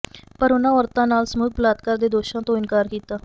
ਪਰ ਉਨ੍ਹਾਂ ਔਰਤਾਂ ਨਾਲ ਸਮੂਹਿਕ ਬਲਾਤਕਾਰ ਦੇ ਦੋਸ਼ਾਂ ਤੋਂ ਇਨਕਾਰ ਕੀਤਾ